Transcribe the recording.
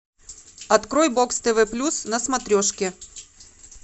открой бокс тв плюс на смотрешке